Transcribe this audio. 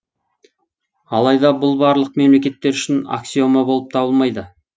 алайда бұл барлық мемлекеттер үшін аксиома болып табылмайды